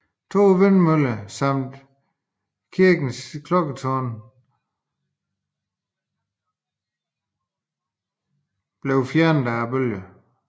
To vindmøller samt kirkens klokketårn bortrevedes af bølgerne